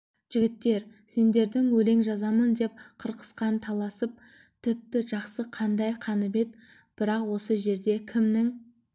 жігіттер сендердің өлең жазамын деп қырқысқан таласың тіпті жақсы қандай қанібет бірақ осы жерде кімнің